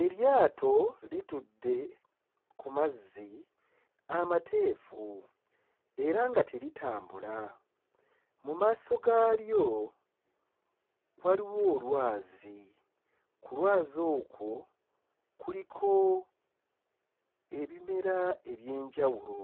Eryato litudde ku mazzi amateefu era nga teritambula. Mu maaso gaalyo waliwo olwazi, ku lwazi okwo kuliko ebimera eby'enjawulo,